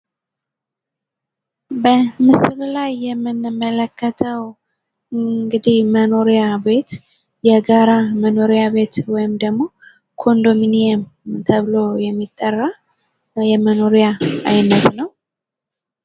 በምስሉ ላይ የምንመለከተው እንግዲህ መኖሪያ ቤት የጋራ መኖሪያ ቤት ውይም ደግሞ ኮንዶሚኒየም ተብሎ የሚጠራ የመኖሪያ አይነት ነው።